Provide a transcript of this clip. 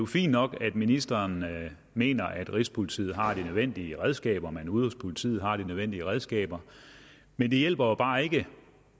fint nok at ministeren mener at rigspolitiet har de nødvendige redskaber man ude hos politiet har de nødvendige redskaber men det hjælper bare ikke